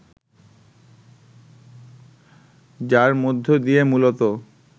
যার মধ্য দিয়ে মূলত